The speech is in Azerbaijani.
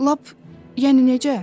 Lap yəni necə?